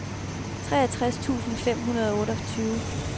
seksogtres tusind fem hundrede og otteogtyve